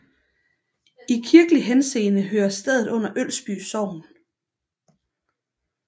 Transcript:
I kirkelig henseende hører stedet under Ølsby Sogn